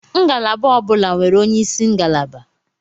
Ngalaba ọ bụla nwere onyeisi ngalaba.